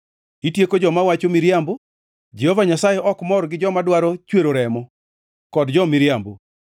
Itieko joma wacho miriambo; Jehova Nyasaye ok mor gi joma dwaro chwero remo, kod jo-miriambo.